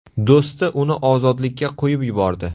Do‘sti uni ozodlikka qo‘yib yubordi.